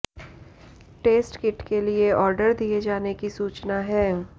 test kit के लिए order दिए जाने की सूचना है